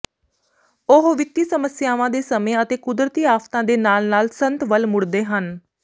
ਉਹ ਵਿੱਤੀ ਸਮੱਸਿਆਵਾਂ ਦੇ ਸਮੇਂ ਅਤੇ ਕੁਦਰਤੀ ਆਫ਼ਤਾਂ ਦੇ ਨਾਲ ਨਾਲ ਸੰਤ ਵੱਲ ਮੁੜਦੇ ਹਨ